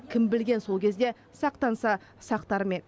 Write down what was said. кім білген сол кезде сақтанса сақтар ма еді